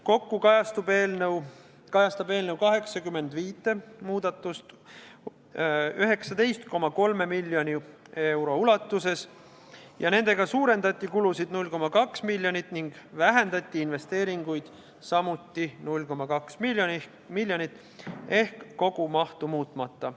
Kokku kajastab eelnõu 85 muudatust 19,3 miljoni euro ulatuses, nendega suurendati kulusid 0,2 miljonit ning vähendati investeeringuid samuti 0,2 miljonit ehk kogumahtu muutmata.